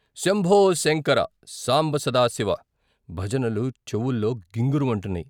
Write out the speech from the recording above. శంభోశంకర! సాంబ సదాశివ ' భజనలు చెవుల్లో గింగురు మంటున్నాయి.